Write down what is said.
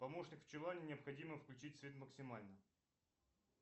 помощник в чулане необходимо включить свет максимально